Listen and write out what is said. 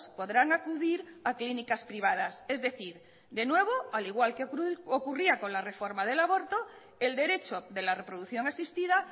podrán acudir a clínicas privadas es decir de nuevo al igual que ocurría con la reforma del aborto el derecho de la reproducción asistida